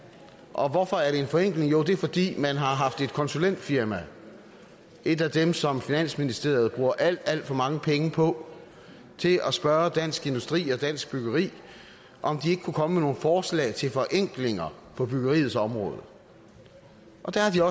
og hvorfor er det en forenkling jo det er fordi man har haft et konsulentfirma et af dem som finansministeriet bruger alt alt for mange penge på til at spørge dansk industri og dansk byggeri om de ikke kunne komme med nogle forslag til forenklinger på byggeriets område og der har